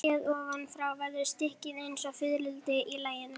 LÁRUS: Ég sagði: í fyrsta lagi.